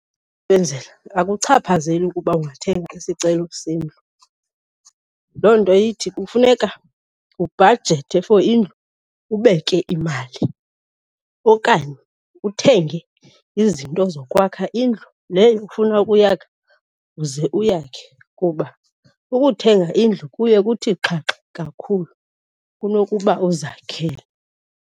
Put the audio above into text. Akuchaphazeli ukuba ungathenga isicelo sendlu. Loo nto ithi kufuneka ubhajethe for indlu, ubeke imali okanye uthenge izinto zokwakha indlu leyo ufuna ukuyakha uze uyakhe kuba ukuthenga indlu kuye kuthi xhaxha kakhulu kunokuba uzakhele.